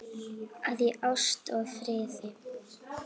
að í ást og friði